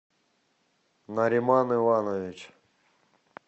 нариман иванович